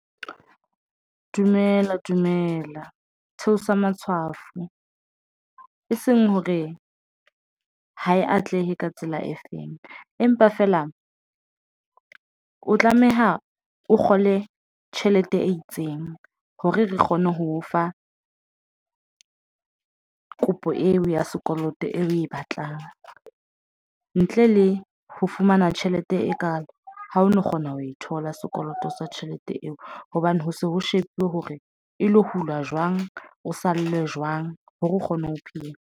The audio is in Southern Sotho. Dumela dumela theosa matshwafo eseng hore ha e atlehe ka tsela e feng empa feela o tlameha o kgole tjhelete e itseng. Hore re kgone ho o fa kopo eo ya sekoloto eo oe batlang ntle le ho fumana tjhelete e kaalo ha o no kgona ho e thola sekoloto sa tjhelete eo hobane ho se ho shebuwe hore e lo hulwa jwang. O sale jwang hore o kgone ho phela.